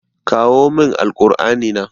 Kawo min Alkur'ani na.